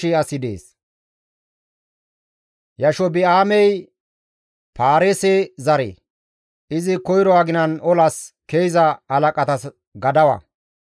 Yashobi7aamey Paareese zare; izi koyro aginan olas ke7iza halaqatas gadawa.